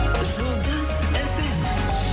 жұлдыз эф эм